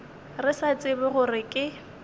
re sa tsebe gore ke